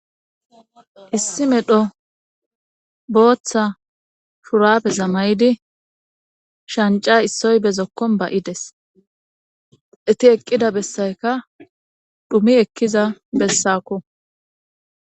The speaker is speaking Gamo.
issi medho booththa shurapeza may7idi shanca issoy bezokkon ba7ides eti eqqida bessayka dhumi ekkiza bessakko